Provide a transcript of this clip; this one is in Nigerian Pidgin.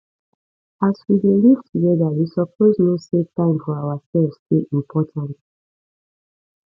as we dey live togeda you suppose know sey time for ourselves dey important